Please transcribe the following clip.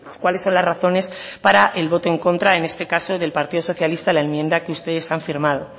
cuáles son las razones para el voto en contra en este caso del partido socialista a la enmienda que ustedes han firmado